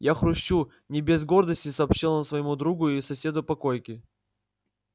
я хрущу не без гордости сообщил он своему другу и соседу по койке